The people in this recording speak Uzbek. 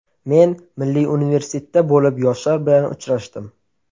Men Milliy universitetda bo‘lib yoshlar bilan uchrashdim.